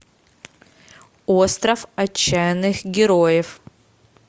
остров отчаянных героев